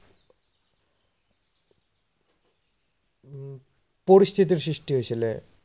পৰিস্থিতিৰ সৃষ্টি হৈছিলে।